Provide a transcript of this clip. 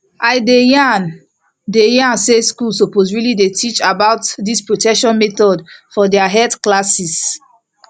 i dey yan dey yan say schools suppose really dey teach about this protection methods for their health classes